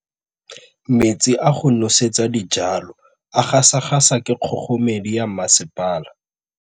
Metsi a go nosetsa dijalo a gasa gasa ke kgogomedi ya masepala.